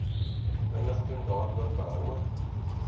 inligting daaroor behoue